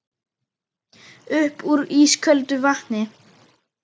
Upp úr ísköldu vatni?